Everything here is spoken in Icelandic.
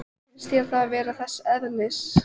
Finnst þér það vera þess eðlis?